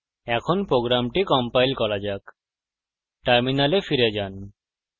এখন program compile করা যাক terminal ফিরে যান